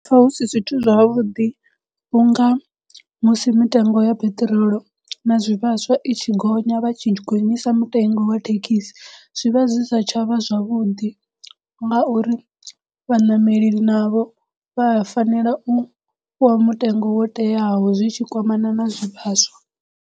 Ndi pfha hu si zwithu zwavhuḓi unga musi mitengo ya peṱirolo na zwivhaswa i tshi gonya vha tshi gonyisa mutengo wa thekhisi zwivha zwi sa tsha vha zwavhuḓi ngauri vhaṋameli navho vha a fanela u fhiwa mutengo wo teaho zwi tshi kwamana na zwivhaswa.